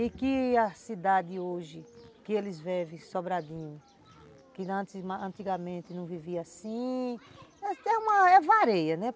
E que a cidade hoje, que eles vivem Sobradinho, que antigamente não vivia assim, é varia, né?